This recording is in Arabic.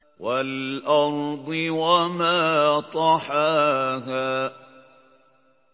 وَالْأَرْضِ وَمَا طَحَاهَا